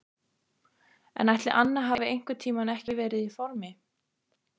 En ætli Anna hafi einhvern tímann ekki verið í formi?